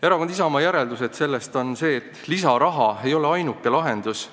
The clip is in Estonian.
Erakonna Isamaa järeldus sellest on see, et lisaraha ei ole ainuke lahendus.